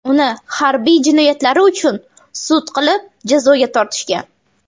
Uni harbiy jinoyatlari uchun sud qilib, jazoga tortishgan.